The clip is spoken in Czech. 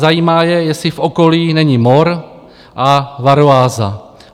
Zajímá je, jestli v okolí není mor a varroáza.